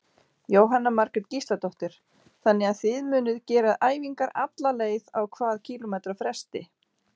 Jóhanna Margrét Gísladóttir: Þannig að þið munuð gera æfingar alla leið, á hvað kílómetra fresti?